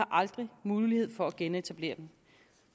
aldrig mulighed for at at genetablere den